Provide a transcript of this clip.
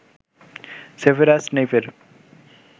Severus স্নেইপের